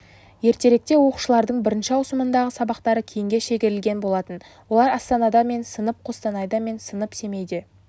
ертеректе оқушылардың бірінші ауысымындағы сабақтары кейінге шегерілген болатын олар астанада мен сынып қостанайда мен сынып семейде